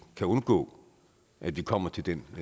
kan undgå at vi kommer i den